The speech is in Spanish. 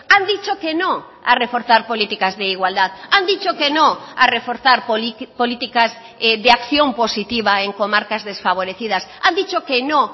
han dicho que no a reforzar políticas de igualdad han dicho que no a reforzar políticas de acción positiva en comarcas desfavorecidas han dicho que no